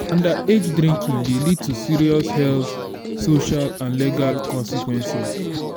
underage drinking dey lead to serious health social and legal consequences.